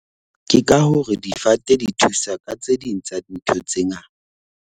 Ke ka hore difate di thusa ka tse ding tsa dintho tse ngata.